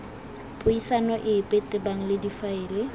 puisano epe tebang le difaele